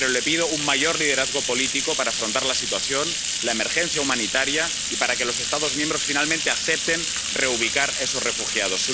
Pero le pido un mayor liderazgo político para afrontar la situación, la emergencia humanitaria, y para que los Estados miembros, finalmente, acepten reubicar a esos refugiados.